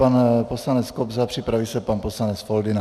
Pan poslanec Kobza, připraví se pan poslanec Foldyna.